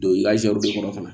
Don i ka zɛriw de kɔnɔ fana